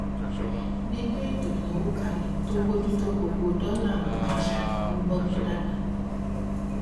gbígbé ètò ìnáwó kalẹ tó bójú tó gbogbo dọlà ń mú àṣà ìnáwó bọgbọn dàgbà